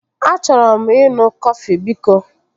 Achọrọ m ịṅụ kọfị biko